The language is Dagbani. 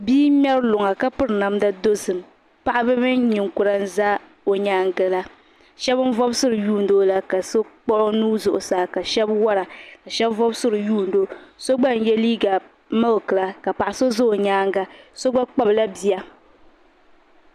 Bia n ŋmɛri luŋa ka piri namda dozim paɣaba mini ninkura n za o yɛanga la shɛba n vobisira n yuni o ka so kpuɣi o nuu zuɣusaa ka shɛb wɔra ka shɛba vobisira n yuni o so gba n yiɛ liiga miliki la ka paɣa so zɛ o yɛanga so gba kpabi la bia.